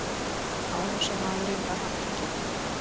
Árásarmaðurinn var handtekinn